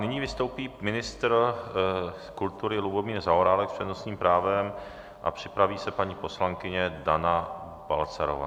Nyní vystoupí ministr kultury Lubomír Zaorálek s přednostním právem a připraví se paní poslankyně Dana Balcarová.